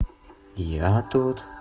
я тут